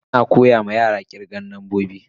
Ana koya ma yara kirgan nambobi.